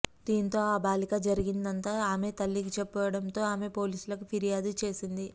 దీంతో ఆ బాలిక జరిగినదంతా ఆమె తల్లికి చెప్పడంతో ఆమె పోలీసులకు ఫిర్యాదు చేసింది